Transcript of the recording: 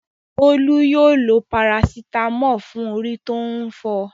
Bólú yóò lo parasítámọ̀ fún orí tó ń fọ.